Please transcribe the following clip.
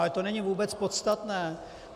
Ale to není vůbec podstatné.